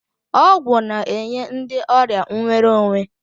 Ọgwụ na-enye ndị ọrịa nwere onwe.